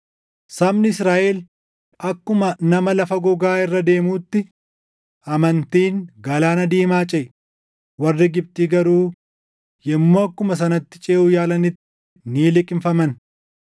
Sabni Israaʼel akkuma nama lafa gogaa irra deemuutti amantiin Galaana Diimaa ceʼe; warri Gibxi garuu yommuu akkuma sanatti ceʼuu yaalanitti ni liqimfaman.